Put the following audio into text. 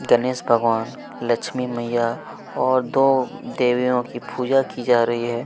गणेश भगवान लक्ष्मी मईया और दो देवियो की पूजा की जा रही है।